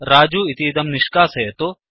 रजु इतीदं निष्कासयतु